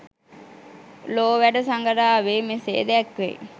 ලෝවැඩ සඟරාවේ මෙසේ දැක්වෙයි.